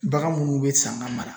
Bagan munnu bɛ san ka mara.